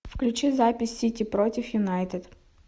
включи запись сити против юнайтед